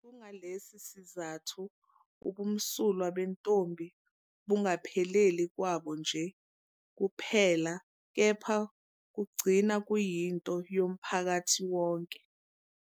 Kungalesi sizathu ubumsulwa bentombi bungapheleli kwabo nje kuphela kepha kugcina kuyinto yomphakathi wonke.